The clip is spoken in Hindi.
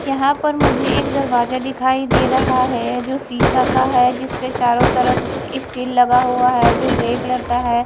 यहां पर मुझे एक दरवाजा दिखाई दे रहा है जो शिशा का है जिसके चारों तरफ कुछ स्टील लगा हुआ है जो ग्रे कलर का है।